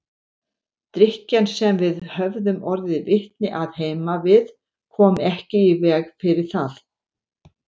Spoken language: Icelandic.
Drykkjan sem við höfðum orðið vitni að heima við kom ekki í veg fyrir það.